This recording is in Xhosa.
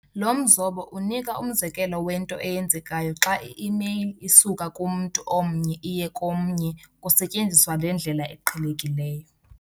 Lo mzobo unika umzekelo wento eyenzekayo xa i-email isuka kumntu omnye iye komnye kusetyenziswa le ndlela iqhelekileyo.